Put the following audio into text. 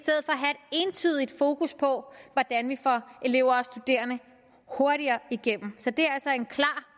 entydigt fokus på hvordan vi får elever og studerende hurtigere igennem så det er altså en klar